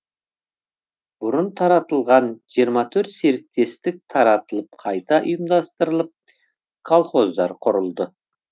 бұрын таратылған жиырма төрт серіктестік таратылып қайта ұйымдастырылып колхоздар құрылды